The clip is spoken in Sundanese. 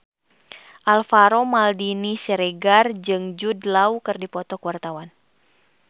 Alvaro Maldini Siregar jeung Jude Law keur dipoto ku wartawan